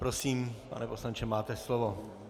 Prosím, pane poslanče, máte slovo.